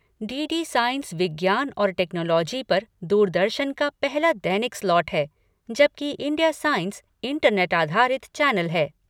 D D science विज्ञान और technology पर दूरदर्शन का पहला दैनिक स्लॉट है, जबकि इंडिया साइंस इंटरनेट आधारित चैनल है।